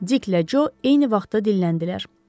Dik ilə Co eyni vaxtda dilləndilər.